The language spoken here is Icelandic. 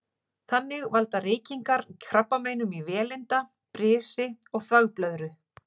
Þannig valda reykingar krabbameinum í vélinda, brisi og þvagblöðru.